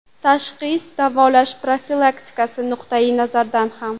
Tashxis, davolash, profilaktika nuqtayi nazaridan ham.